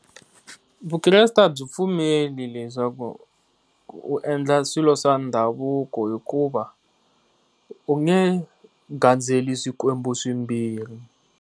Vukreste a byi pfumeli leswaku u endla swilo swa ndhavuko hikuva u nge gandzeli swikwembu swimbirhi.